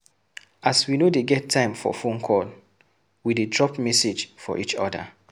As we no dey get time for fone call, we dey drop message for each other.